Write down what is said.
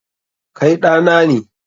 Kai ɗa na ne.